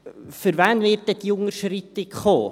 Für wen wird denn diese Unterschreitung kommen?